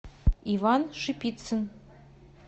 иван шипицын